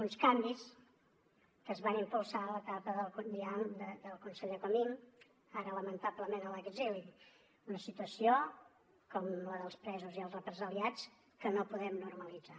uns canvis que es van impulsar ja en l’etapa del conseller comín ara lamentablement a l’exili una situació com la dels presos i els represaliats que no podem normalitzar